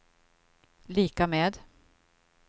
lika med